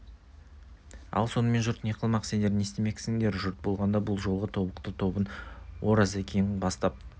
ал сонымен жұрт не қылмақ сендер не істемексіңдер жұрт болғанда бұл жолғы тобықты тобын оразекең бастап